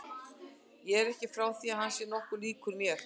Ég er ekki frá því að hann sé nokkuð líkur mér.